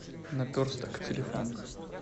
наперсток телефон